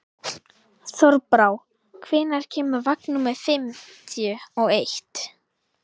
Þorbrá, hvenær kemur vagn númer fimmtíu og eitt?